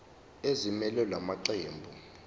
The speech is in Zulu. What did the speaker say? ezimelele la maqembu